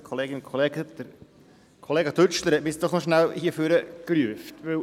Kollega Dütschler hat mich nach vorne gerufen.